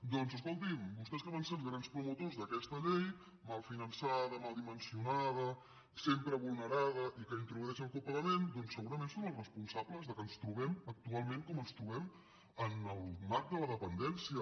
doncs escolti’m vostès que van ser els grans promotors d’aquesta llei mal finançada mal dimensionada sempre vulnerada i que introdueix el copagament segurament són els responsables que ens trobem actualment com ens trobem en el marc de la dependència